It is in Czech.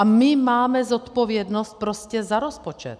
A my máme zodpovědnost prostě za rozpočet.